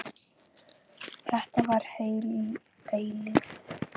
Þetta var heil eilífð.